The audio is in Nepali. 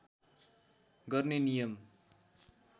गर्ने नियम